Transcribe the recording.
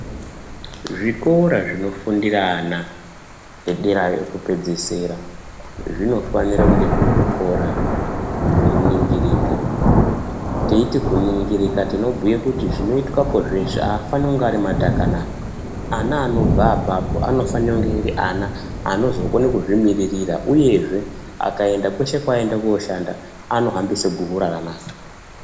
Zvikora zvinofundire ana edera ekupedzisira, zvinofanire kunge zviri zvikora zvinoningirika. Teiti kuningirika tinobhuye kuti zvinoitwapo zveshe aafani kunge ari matakanana. Ana anobva apapo anofane kunge ari ana anozokone kuzvimiririra, uyezve akaenda kweshe kwaanoende koshanda anofambise guhu rakanaka.